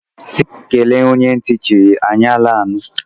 Si kele onye nti chiri, eny ala anu.